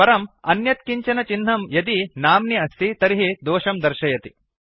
परम् अन्यत् किञ्चन चिह्नं यदि नाम्नि अस्ति तर्हि दोषं दर्शयति